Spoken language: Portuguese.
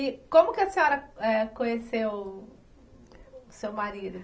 E como que a senhora, eh, conheceu o seu marido?